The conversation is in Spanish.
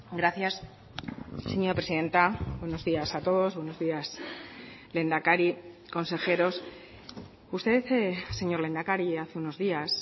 gracias señora presidenta buenos días a todos buenos días lehendakari consejeros usted señor lehendakari hace unos días